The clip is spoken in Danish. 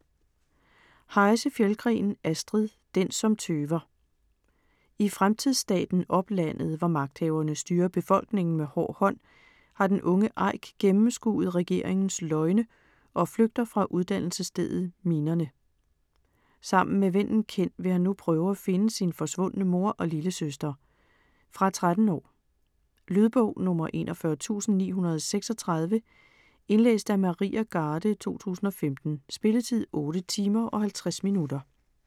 Heise-Fjeldgren, Astrid: Den som tøver I fremtidsstaten Oplandet, hvor magthaverne styrer befolkningen med hård hånd, har den unge Aik gennemskuet regeringens løgne og flygter fra uddannelsesstedet Minerne. Sammen med vennen Ken vil han nu prøve at finde sin forsvundne mor og lillesøster. Fra 13 år. Lydbog 41936 Indlæst af Maria Garde, 2015. Spilletid: 8 timer, 50 minutter.